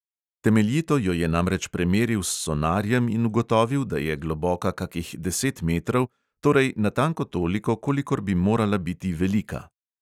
Temeljito jo je namreč premeril s sonarjem in ugotovil, da je globoka kakih deset metrov, torej natanko toliko, kolikor bi morala biti velika.